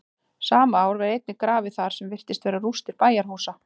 sama ár var einnig grafið þar sem virtust vera rústir bæjarhúsa